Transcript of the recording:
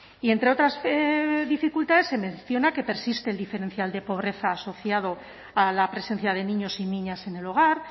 y entre otras dificultades se menciona que persiste el diferencial de pobreza asociado a la presencia de niños y niñas en el hogar